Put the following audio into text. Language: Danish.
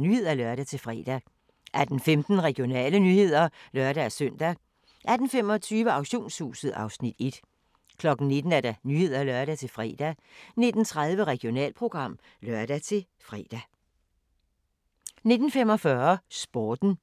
Nyhederne (lør-fre) 18:15: Regionale nyheder (lør-søn) 18:25: Auktionshuset (Afs. 1) 19:00: Nyhederne (lør-fre) 19:30: Regionalprogram (lør-fre) 19:45: Sporten